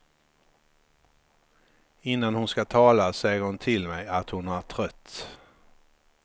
Innan hon ska tala säger hon till mig att hon är trött.